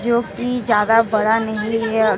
जोकि ज्यादा बड़ा नहीं है।